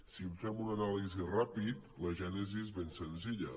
si en fem una anàlisi ràpida la gènesi és ben senzilla